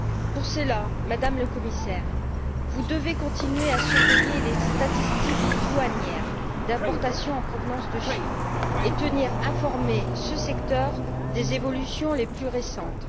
Pour cela, Madame le Commissaire, vous devez continuer à surveiller les statistiques douanières d'importations en provenance de Chine et tenir informé ce secteur des évolutions les plus récentes.